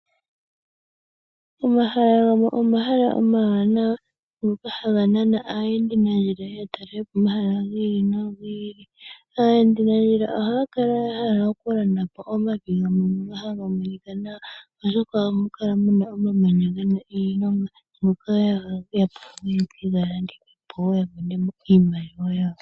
Omahala gamwe omahala omawanawa ngoka haga nana aayendinandjila ye ye ya talelepo omahala gi ili nogi ili. Aayendinandjila ohaya kala ya hala okulandapo omavi gamwe ngono haga monika nawa, oshoka ohamu kala muna omamanya gena iilonga moka ya hala pamwe ye ke ga landithepo ya monemo iimaliwa yawo.